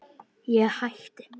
Ég hætti.